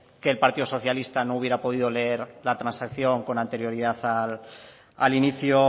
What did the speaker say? que el partido socialista no hubiera podido leer la transacción con anterioridad al inicio